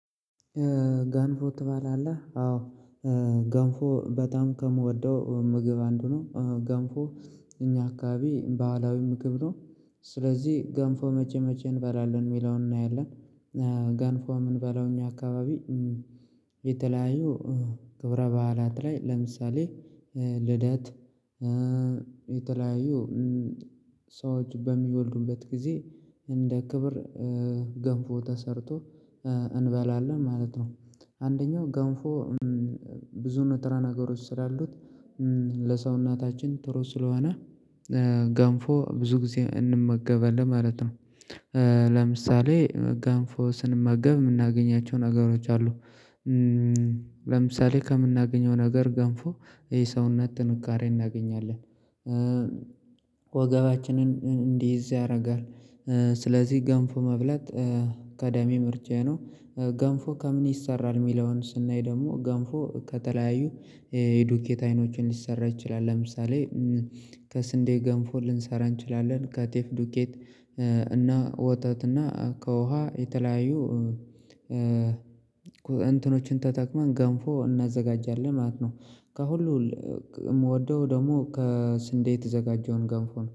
ገንፎ ትባላለህ አዎ። ገንፎ በጣም ከምወደው ምግብ አንዱ ነው ገንፎ እኛ አካባቢ ባህላዊ ምግብ ነው። ስለዚህ ገንፎ መቼ መቼ እንበላለን የሚለውን እናያለን። ገንፎ ምንበለው እኛ አካባቢ የተለያዩ ክብረ በዓላት ላይ ለምሳሌ ልደት የተለያዩ ሰዎች በሚወልዱበት ጊዜ እንደ ክብር ገንፎ ተሰርቶ እንበላለን ማለት ነው። አንደኛው ገንፎ ብዙ ንጥራ ነገሮች ስላሉት ለሰውነታችን ጥሩ ስለሆነ ገንፎ ብዙ ጊዜ እንመገበለን ማለት ነው። ለምሳሌ ገንፎ ስንመገብ የምናገኛቸው ነገሮች አሉ። ለምሳሌ ከምናገኘው ነገር ገንፎ የሰውነት ጥንካሬ እናገኛለን። ወገባችንን እንዲይዝ ያደርጋል። ስለዚህ ገንፎ መብላት ቀዳሚ ምርጫዬ ነው። ገንፎ ከምን ይሰራል የሚለውን ስናይ ደግሞ ገንፎ ከተለያዩ ዱቄት አይኖችን ሊሰራ ይችላል። ለምሳሌ ከስንዴ ገንፎ ልንሰራ እንችላለን ከጤፍ ዱቄት እና ወተት እና ከውሃ የተለያዩ እንትኖችን ተጠቅመን ገንፎ እናዘጋጃለን ማለት ነው። ከሁሉ የምወደው ደግሞ ከስንዴ የተዘጋጀውን ገንፎ ነው